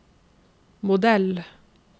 modell